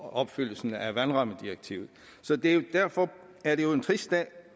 at opfylde vandrammedirektivet derfor er det jo